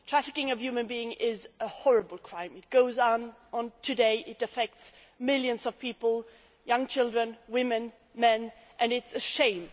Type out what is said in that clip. Trafficking of human beings is a horrible crime. It goes on today, it affects millions of people young children, women, men and it is a shame.